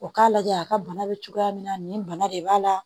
O k'a lajɛ a ka bana bɛ cogoya min na nin bana de b'a la